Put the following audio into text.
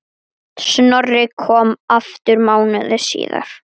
Snorri kom aftur mánuði síðar.